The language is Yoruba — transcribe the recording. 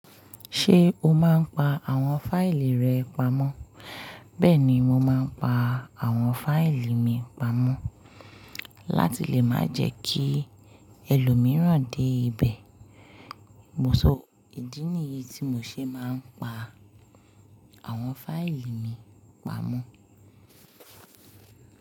Ṣé o máa ń pa àwọn fáìlì rẹ pamọ́? Bẹ́ẹ̀ ni mo máa ń pa àwọn fáìlì mi pamọ́ láti lè má jẹ kí ẹlòmíràn dé ibẹ̀. Mo sọ ìdí nìyí tí mo ṣe máa ń pa àwọn fáìlì mi pamọ́